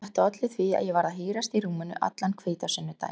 Þetta olli því að ég varð að hírast í rúminu allan hvítasunnudaginn.